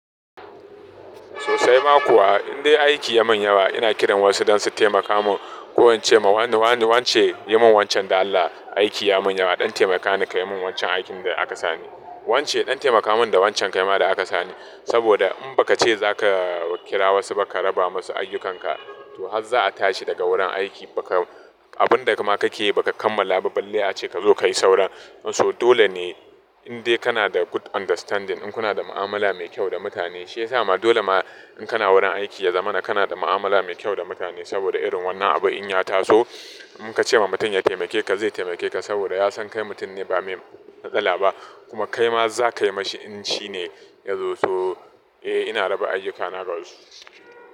Sosai ma kuwa in dai aiki ya min yawa ina kiran wasu don su taimaka min. Ko in ce ma wani wance yi mun wancan da Allah aiki ya min yawa ɗan taimaka ni kayi min wancan aikin da aka sani. Wance ɗan taimaka mun da wancan kaima da aka sani. Saboda in ba ka ce za ka kira wasu ba ka raba masu ayyukanka to har za a tashi daga wurin aiki ba ka abun da ka ma ka ke yi ba ka kammala ba balle a ce ka zo ka yi sauran. So dole ne in dai kana da good understanding in kuna da mu'amala mai kyau da mutane shi yasa ma dole ma in kana wurin aiki ya zama kana da mu'amala mai kyau da mutane saboda irin wannan abu in ya taso in ka ce ma mutum ya taimake ka zai taimake ka saboda ya san kai mutum ne ba me matsala ba kuma kai ma za ka yi mashi in shi ne ya zo. So eh ina raba ayyukana ga wasu.